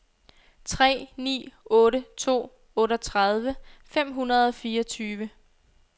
tre ni otte to otteogtredive fem hundrede og fireogtyve